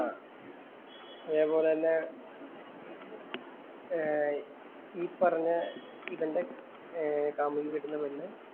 ആഹ് അതേ പോലെ തന്നെ ഏർ ഈ പറഞ്ഞ ഇവന്‍റെ കാമുകി പെണ്ണ്